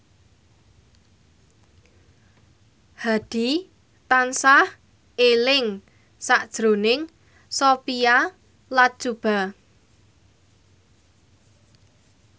Hadi tansah eling sakjroning Sophia Latjuba